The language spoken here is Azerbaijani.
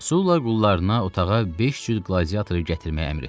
Sula qullarına otağa beş cür qladiatoru gətirməyi əmr etdi.